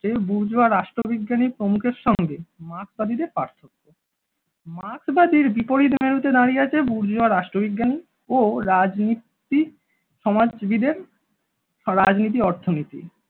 যে বুর্জুয়া রাষ্ট্রবিজ্ঞানী প্রমুখের সঙ্গে মার্কসবাদীদের পার্থক্য মার্কসবাদীর বিপরীত মেরুতে দাঁড়িয়ে আছে বুর্জুয়া রাষ্ট্রবিজ্ঞানী ও রাজনীতি সমাজসেবীদের রাজনীতি অর্থনীতি